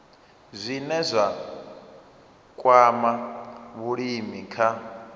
zwine zwa kwama vhulimi kha